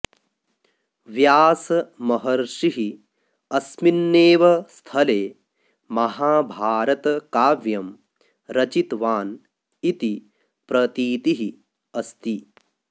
व्यासमहर्षिः अस्मिन्नेव स्थले महाभारतकाव्यं रचितवान् इति प्रतीतिः अस्ति